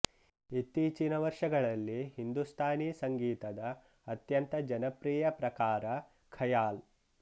ಇತ್ತೀಚಿನ ವರ್ಷಗಳಲ್ಲಿ ಹಿಂದುಸ್ತಾನಿ ಸಂಗೀತದ ಅತ್ಯಂತ ಜನಪ್ರಿಯ ಪ್ರಕಾರ ಖಯಾಲ್